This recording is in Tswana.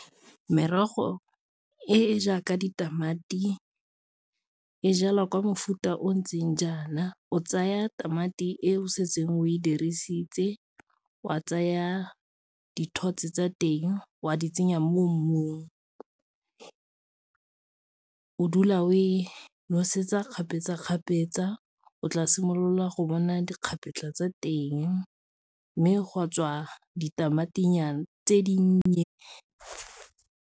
Merogo e e jaaka ditamati e jalwa kwa mofuta o o ntseng jaana o tsaya tamati e o setseng o e dirisitse, wa tsaya dithotse tsa teng wa di tsenya mo mmung, o dula o e nosetsa kgapetsa-kgapetsa o tla simolola go bona dikgapetlha tsa teng, mme gwa tswa ditamati nyana tse dinnye.